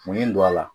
Mun ye n don a la